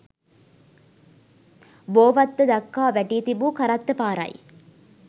බෝවත්ත දක්වා වැටී තිබූ කරත්ත පාරයි.